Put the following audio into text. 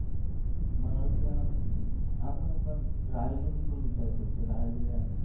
મારે કહેવાનુ આપણે પણ રાહિલ નુ ભી નુ થોડુ વિચારવુ પડશે રાહિલ્યા